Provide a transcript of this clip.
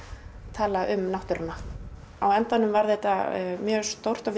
tala um náttúruna á endanum varð þetta stórt og